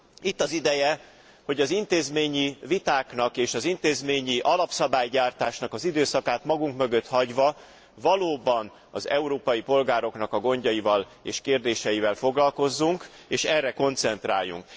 Itt az ideje, hogy az intézményi vitáknak és az intézményi alapszabálygyártásnak az időszakát magunk mögött hagyva valóban az európai polgároknak a gondjaival és kérdéseivel foglalkozzunk, és erre koncentráljunk.